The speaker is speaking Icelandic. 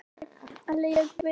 Upprunann er að sækja til latínu.